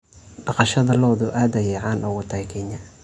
Dhaqashada lo'du aad ayey caan uga tahay Kenya.